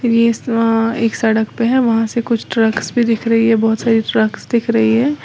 एक सड़क पे है वहां से कुछ ट्रक्स भी दिख रही है बहुत सारी ट्रकस दिख रही है।